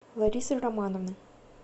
ларисы романовны